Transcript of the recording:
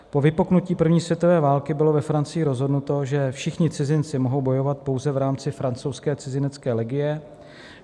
Po vypuknutí první světové války bylo ve Francii rozhodnuto, že všichni cizinci mohou bojovat pouze v rámci francouzské cizinecké legie.